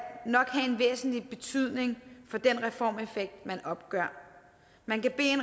nok have en væsentlig betydning for den reformeffekt man opgør man kan bede